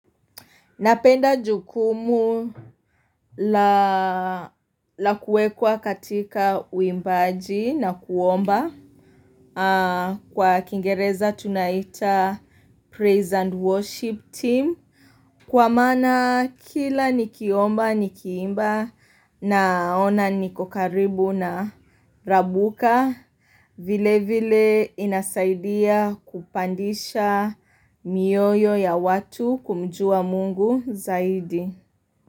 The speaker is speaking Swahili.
Napenda jukumu la kuwekwa katika uimbaji na kuomba kwa kingereza tunaita praise and worship team. Kwa maana kila nikiomba nikiimba naona niko karibu na Rabuka vile vile inasaidia kupandisha mioyo ya watu kumjua Mungu zaidi.